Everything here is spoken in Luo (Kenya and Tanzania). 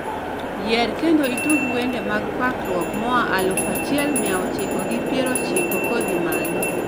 yier kendo itug wende mag pakruok moa aluf achiel mia ochiko gi pier ochiko kodhii malo